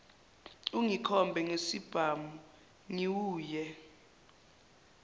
ungikhombe ngesibhamu ngiwuye